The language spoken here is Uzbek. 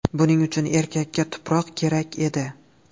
Buning uchun erkakka tuproq kerak edi.